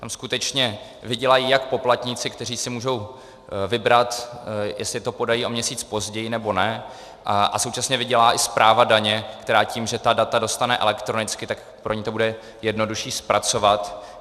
Tam skutečně vydělají jak poplatníci, kteří si můžou vybrat, jestli to podají o měsíc později, nebo ne, a současně vydělá i správa daně, která tím, že ta data dostane elektronicky, tak pro ni to bude jednodušší zpracovat.